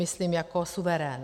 Myslím jako suverén.